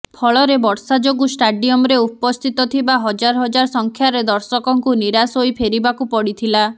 ଫଳରେ ବର୍ଷା ଯୋଗୁ ଷ୍ଟାଡିୟମ୍ରେ ଉପସ୍ଥିତ ଥିବା ହଜାର ହଜାର ସଂଖ୍ୟାରେ ଦର୍ଶକଙ୍କୁ ନିରାଶ ହୋଇ ଫେରିବାକୁ ପଡ଼ିଥିଲା